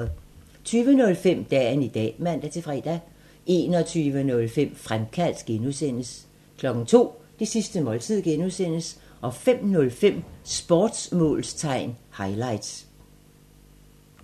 20:05: Dagen i dag (man-fre) 21:05: Fremkaldt (G) 02:00: Det sidste måltid (G) 05:05: Sportsmålstegn highlights